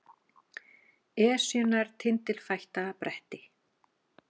Esjunnar tindilfætta bretti